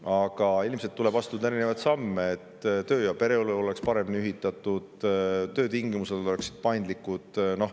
Aga ilmselt tuleb astuda erinevaid samme, et töö- ja pereelu oleks paremini ühitatud ning töötingimused oleksid paindlikud.